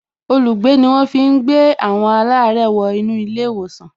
Olùgbé ni wọ́n fi ń gbé àwọn alare wo inú ilé ìwòsàn